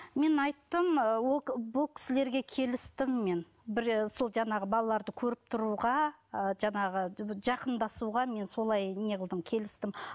мен айттым ол бұл кісілерге келістім мен бір ы сол жаңағы балаларды көріп тұруға ы жаңағы жақындасуға мен солай неғылдым келістім